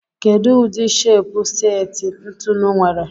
Kedu udi shepu seti ntụnụ nwere?